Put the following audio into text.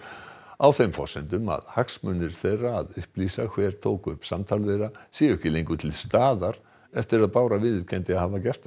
á þeim forsendum að hagsmunir þeirra að upplýsa hver tók upp samtal þeirra séu ekki lengur til staðar eftir að Bára viðurkenndi að hafa gert það